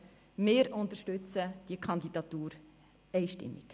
Wir unterstützen diese Kandidatur einstimmig.